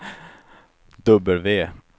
W